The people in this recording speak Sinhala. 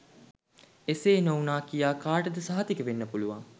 එසේ නොවුනා කියා කාටද සහතික වෙන්න පුලුවන්